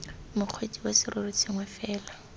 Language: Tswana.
mokgweetsi wa serori sengwe fela